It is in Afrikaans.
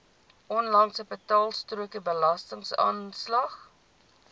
onlangse betaalstrokie belastingaanslag